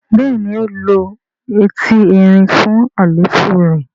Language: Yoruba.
béèni o ló Ẹti Ẹrin fún àléfọ rẹ.